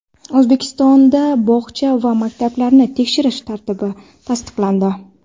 O‘zbekistonda bog‘cha va maktablarni tekshirish tartibi tasdiqlandi.